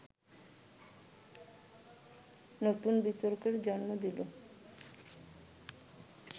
নতুন বিতর্কের জন্ম দিল